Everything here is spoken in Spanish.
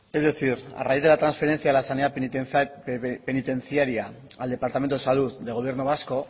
es decir a raíz de de la transferencia a la sanidad penitenciaria al departamento de salud del gobierno vasco